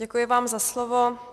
Děkuji vám za slovo.